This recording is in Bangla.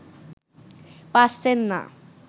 পারছেন না